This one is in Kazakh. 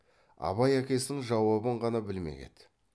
абай әкесінің жауабын ғана білмек еді